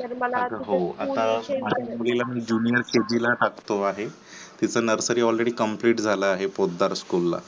तर मला आता माझ्या मुलीला मी junior kg ला टाकतो आहे, तिचा nursary already complete झाला आहे. पोतदार school ला